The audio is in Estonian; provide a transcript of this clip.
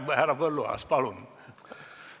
Härra Põlluaas, palun!